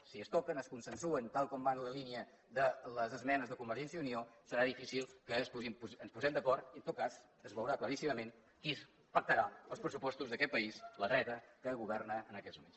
si es toquen es consensuen tal com va la línia de les esmenes de convergència i unió serà difícil que ens posem d’acord i en tot cas es veurà claríssimament qui pactarà els pressupostos d’aquest país la dreta que governa en aquest moments